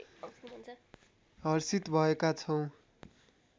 हर्षित भएका छौँ